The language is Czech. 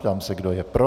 Ptám se, kdo je pro.